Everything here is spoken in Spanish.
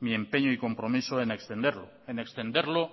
mi empeño y compromiso en extenderlo en extenderlo